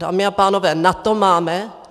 Dámy a pánové, na to máme?